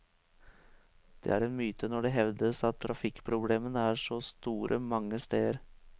Det er en myte når det hevdes at trafikkproblemene er så store mange steder.